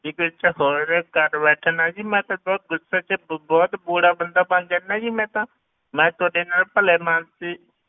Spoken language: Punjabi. ਬੀਬੀ ਇੱਥੇ ਹੋਰ ਕਰ ਬੈਠਣਾ ਜੀ ਮੈਂ ਤਾਂ ਜੀ ਬਹੁਤ ਗੁੱਸੇ ਵਿੱਚ ਬਹੁਤ ਬੁਰਾ ਬੰਦਾ ਬਣ ਜਾਨਾ ਜੀ ਮੈਂ ਤਾਂ ਮੈਂ ਤੁਹਾਡੇ ਨਾਲ ਭਲੇਮਾਣਸੀ